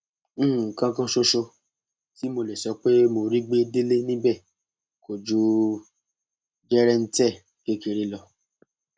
nǹkan kan ṣoṣo tí mo lè sọ pé mo rí gbé délé níbẹ kò ju jẹrẹǹtẹ kékeré lọ